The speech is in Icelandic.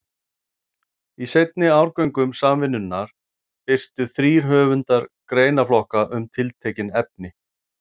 Í seinni árgöngum Samvinnunnar birtu þrír höfundar greinaflokka um tiltekin efni.